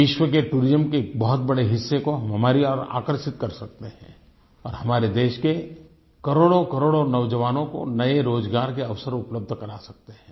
विश्व के टूरिज्म के एक बहुत बड़े हिस्से को हमारी ओर आकर्षित कर सकते हैं और हमारे देश के करोड़ोकरोड़ों नौजवानों को रोज़गार के अवसर उपलब्ध करा सकते हैं